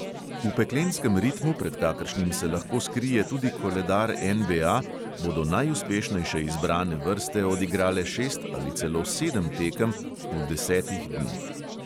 V peklenskem ritmu, pred kakršnim se lahko skrije tudi koledar NBA, bodo najuspešnejše izbrane vrste odigrale šest ali celo sedem tekem v desetih dneh.